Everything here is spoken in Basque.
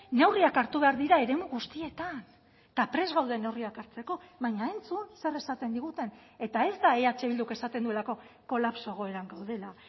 neurriak hartu behar dira eremu guztietan eta prest gaude neurriak hartzeko baina entzun zer esaten diguten eta ez da eh bilduk esaten duelako kolapso egoeran gaudela